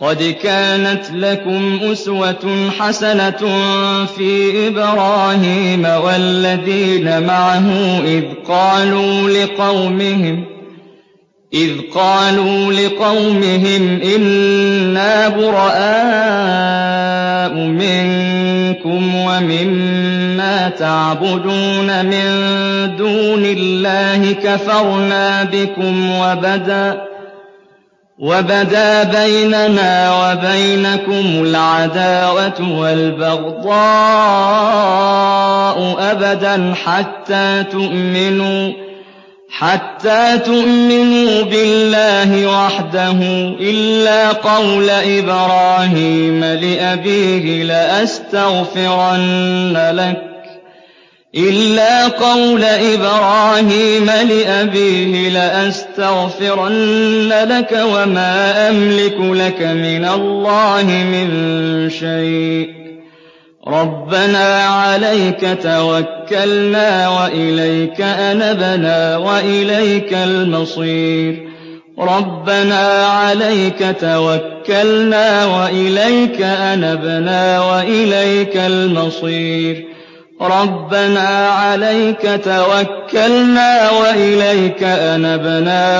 قَدْ كَانَتْ لَكُمْ أُسْوَةٌ حَسَنَةٌ فِي إِبْرَاهِيمَ وَالَّذِينَ مَعَهُ إِذْ قَالُوا لِقَوْمِهِمْ إِنَّا بُرَآءُ مِنكُمْ وَمِمَّا تَعْبُدُونَ مِن دُونِ اللَّهِ كَفَرْنَا بِكُمْ وَبَدَا بَيْنَنَا وَبَيْنَكُمُ الْعَدَاوَةُ وَالْبَغْضَاءُ أَبَدًا حَتَّىٰ تُؤْمِنُوا بِاللَّهِ وَحْدَهُ إِلَّا قَوْلَ إِبْرَاهِيمَ لِأَبِيهِ لَأَسْتَغْفِرَنَّ لَكَ وَمَا أَمْلِكُ لَكَ مِنَ اللَّهِ مِن شَيْءٍ ۖ رَّبَّنَا عَلَيْكَ تَوَكَّلْنَا وَإِلَيْكَ أَنَبْنَا